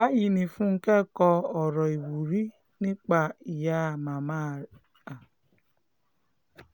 báyìí ni fúnkẹ́ kọ ọ̀rọ̀ ìwúrí nípa màmá rẹ̀